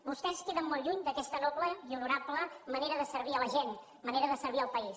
vostès queden molt lluny d’aquesta noble i honorable manera de servir la gent manera de servir el país